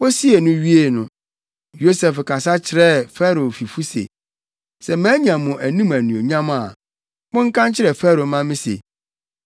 Wosuu no wiee no, Yosef kasa kyerɛɛ Farao fifo se, “Sɛ manya mo anim anuonyam a, monka nkyerɛ Farao mma me se,